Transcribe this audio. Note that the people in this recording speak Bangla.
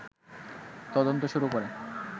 তদন্ত শুরু করে